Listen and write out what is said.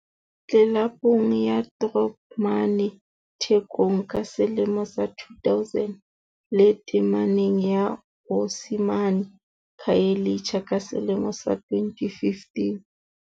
Tlelapong ya Throb mane Thekong ka selemo sa 2000, le tameneng ya Osi mane Khayelitsha ka selemo sa 2015.